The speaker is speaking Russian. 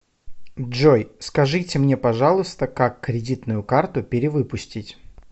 джой скажите мне пожалуйста как кредитную карту перевыпустить